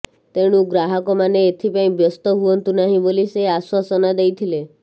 ତେଣୁ ଗ୍ରାହକମାନେ ଏଥିପାଇଁ ବ୍ୟସ୍ତ ହୁଅନ୍ତୁ ନାହିଁ ବୋଲି ସେ ଆଶ୍ୱାସନା ଦେଇଥିଲେ